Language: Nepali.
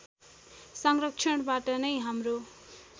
संरक्षणबाट नै हाम्रो